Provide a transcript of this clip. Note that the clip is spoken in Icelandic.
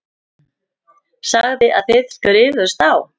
Sagði að þið skrifuðust á.